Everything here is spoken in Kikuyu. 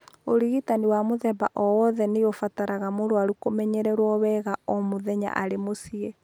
Ũrigitani wa mũthemba o wothe nĩ ũbataraga mũrwaru kũmenyererũo wega o mũthenya arĩ mũciĩ.